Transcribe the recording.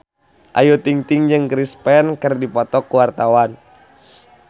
Ayu Ting-ting jeung Chris Pane keur dipoto ku wartawan